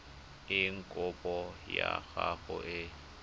eng kopo ya gago e